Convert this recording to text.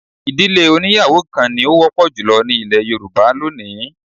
Ì̀dílé oníyàwó kan ni ó wọ́pọ̀ jù ní ilẹ̀ Yorùbá lónìí